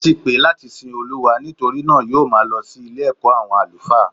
Ati pè é láti sin Olúwa nítorí náà yóò máa lọ sí Ilé ẹ̀kọ́ àwọn àlùfáà